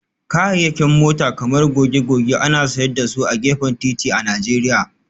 Kayayyakin mota kamar goge-goge ana sayar da su a gefen titi a Najeriya